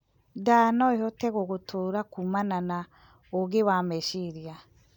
Ndaa noĩhote gugutura kuumana na ũingĩ wa mecirĩa